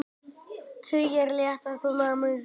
Tugir létust í námuslysi